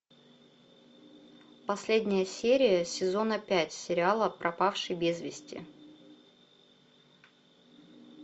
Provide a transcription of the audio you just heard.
последняя серия сезона пять сериала пропавший без вести